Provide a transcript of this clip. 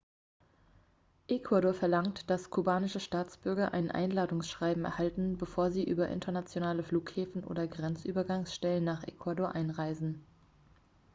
ecuador verlangt dass kubanische staatsbürger ein einladungsschreiben erhalten bevor sie über internationale flughäfen oder grenzübergangsstellen nach ecuador einreisen